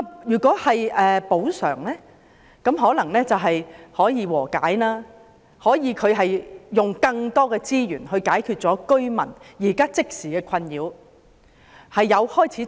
如果作出補償，則或許能達成和解，可以用更多資源解決居民即時的困擾。